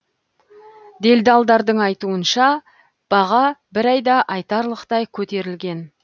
делдалдардың айтуынша баға бір айда айтарлықтай көтерілген